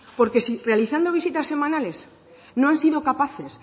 porque si realizando visitas semanales no han sido capaces